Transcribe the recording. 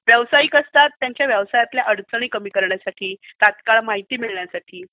व्यावसायिक असतात त्यांच्या व्यवसायातल्या अडचणी कमी करण्यासाठी, तत्काळ माहिती मिळवण्यासाठी